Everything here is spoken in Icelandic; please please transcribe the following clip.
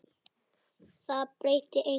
Það breytti engu.